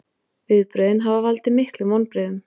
Viðbrögðin hafi valdið miklum vonbrigðum